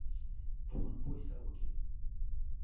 туланбой сорокин